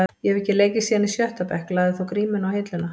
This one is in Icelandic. Ég hef ekki leikið síðan í sjötta bekk, lagði þá grímuna á hilluna.